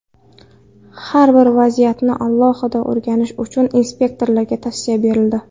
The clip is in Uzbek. Har bir vaziyatni alohida o‘rganish uchun inspektorlarga tavsiya berildi.